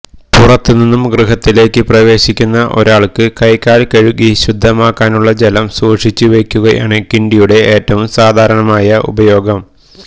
പുറത്തുനിന്നും ഗൃഹത്തിലേയ്ക്ക് പ്രവേശിക്കുന്ന ഒരാൾക്ക് കൈകാൽ കഴുകി ശുദ്ധമാകാനുള്ള ജലം സൂക്ഷിച്ചു വെയ്ക്കുകയാണ് കിണ്ടിയുടെ ഏറ്റവും സാധാരണമായ ഉപയോഗം